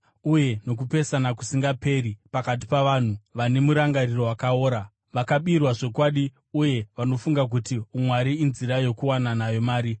uye nokupesana kusingaperi pakati pavanhu vane murangariro wakaora, vakabirwa zvokwadi uye vanofunga kuti umwari inzira yokuwana nayo mari.